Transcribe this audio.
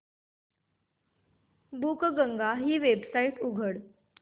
बुकगंगा ही वेबसाइट उघड